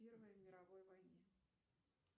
в первой мировой войне